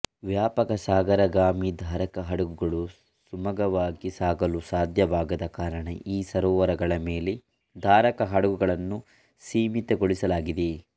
ವ್ಯಾಪಕ ಸಾಗರಗಾಮಿ ಧಾರಕ ಹಡಗುಗಳು ಸುಮಗವಾಗಿ ಸಾಗಲು ಸಾಧ್ಯವಾಗದ ಕಾರಣ ಈ ಸರೋವರಗಳ ಮೇಲೆ ಧಾರಕ ಹಡಗುಗಳನ್ನು ಸೀಮಿತಗೊಳಿಸಲಾಗಿದೆ